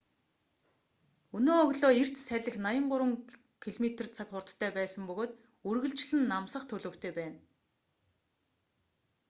өнөө өглөө эрт салхи 83 км/цаг хурдтай байсан бөгөөд үргэлжлэн намсах төлөвтэй байна